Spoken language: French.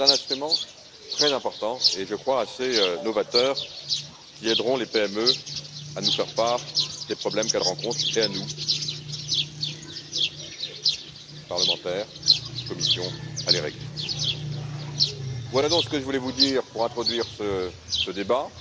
C'est un instrument très important et, je crois, assez novateur, qui aidera les PME à nous faire part des problèmes qu'elles rencontrent et les parlementaires et la Commission à les régler. Voilà donc ce que je voulais vous dire pour introduire